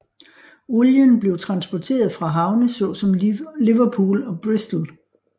Olien blev transporteret fra havne såsom Liverpool og Bristol